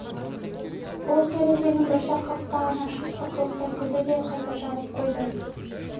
ол терезенің бір жақ қақпағын ашып сықылықтай күлді де қайта жаба қойды